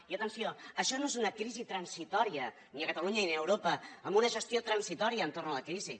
i atenció això no és una crisi transitòria ni a catalunya ni a europa amb una gestió transitòria entorn de la crisi